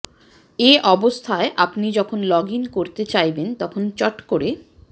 এ অবস্থায় আপনি যখন লগইন করতে চাইবেন তখন চট করে